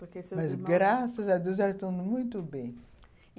Mas graças a Deus elas estão muito bem.